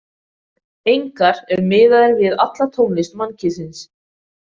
Engar- ef miðað er við alla tónlist mannkynsins.